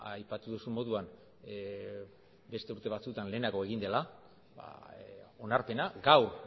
aipatu duzun moduan beste urte batzuetan lehenago egin dela onarpena gaur